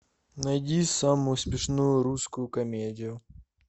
найди самую смешную русскую комедию